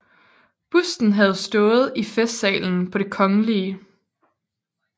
Busten havde stået i Festsalen på Det Kgl